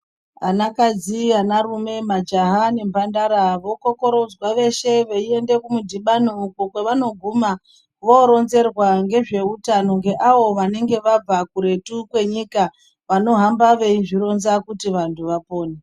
Ana kadzi, ana rume, majaha nemhandara vokokorodzwa veshe veienda kumudhibano uko kwevanoguma voronzerwa ngezveutano ngeavo vanenge vabva kuretu kwenyika vanohamba veizvironza kuti vantu vapone.